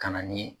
Ka na ni